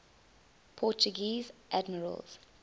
portuguese admirals